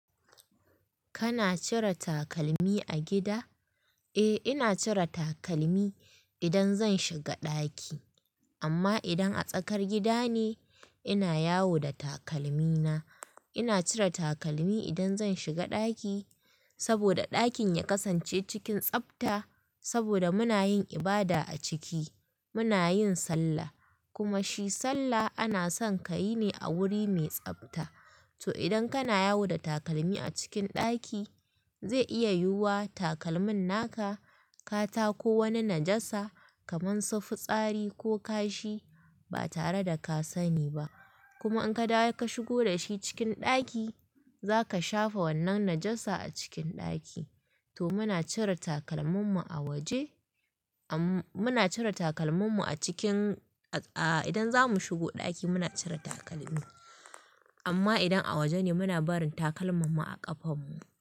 Kana cire takalmi a gida? Eh ina cire takalmi idan zan shiga ɗaki amma idan a tsakar gida ne ina yawo da takalmi na. Ina cire takalmi idan zan shiga ɗaki saboda ɗakin ya kasance cikin tsabta saboda muna yin ibada a ciki, muna yin sallah kuma shi sallah ana son ka yi ne a wuri mai tsabta. To idan kana yawo da takalmi a cikin ɗaki zai iya yiwuwa takalmin naka ka tako wani najasa kamar su fitsari ko kashi ba tare da ka sani ba kuma in ka dawo ka shigo da shi cikin ɗaki za ka shafa wannan najasa a cikin ɗaki. To muna cire takalmun mu a waje muna cire takalmun mu a cikin a idan za mu shigo ɗaki muna cire takalmi amma idan a waje ne muna barin takalman mu a ƙafan mu.